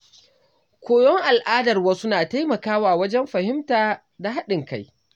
Koyon al’adar wasu na taimakawa wajen fahimta da haɗin kai.